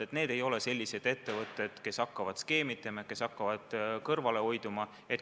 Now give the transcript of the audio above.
Need ei ole sellised ettevõtted, kes hakkavad skeemitama ja kõrvale hoiduma.